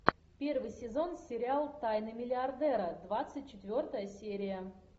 первый сезон сериал тайны миллиардера двадцать четвертая серия